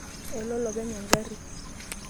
Ele olopeny engari.